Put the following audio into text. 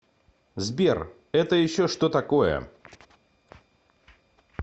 сбер это еще что такое